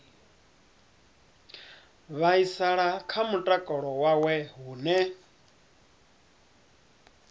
vhaisala kha mutakalo wawe hune